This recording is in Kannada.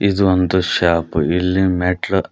ಇದು ಒಂದ್ ಶಾಪು ಇಲ್ ಮೆಟ್ಲು--